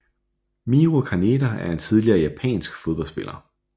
Miho Kaneda er en tidligere japansk fodboldspiller